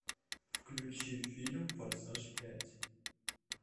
включи фильм форсаж пять